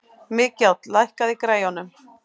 Mikjáll, lækkaðu í græjunum.